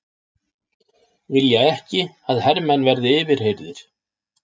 Vilja ekki að hermenn verði yfirheyrðir